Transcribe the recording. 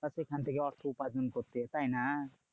বা সেখান থেকে অর্থ উপার্জন করতে তাইনা?